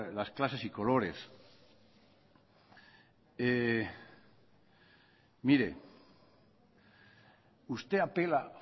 las clases y colores mire usted apela